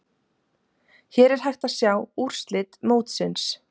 Hér er hægt að sjá úrslit mótsins.